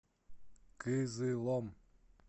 кызылом